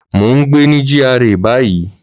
Mò ń gbé ní GRA báyìí